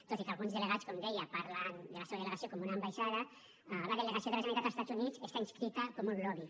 tot i que alguns delegats com deia parlen de la seva delegació com una ambaixada la delegació de la generalitat als estats units hi està inscrita com un lobby